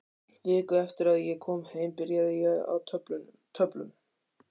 Viku eftir að ég kom heim byrjaði ég á töflum.